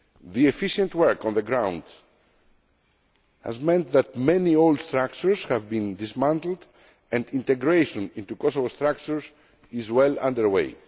The efficient work on the ground has meant that many old structures have been dismantled and integration into Kosovo structures is well